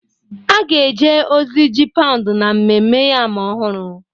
A ga-eje ozi ji paụnd na Ememme Yam Ọhụrụ